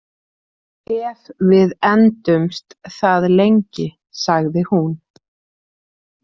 Ef við endumst það lengi, sagði hún.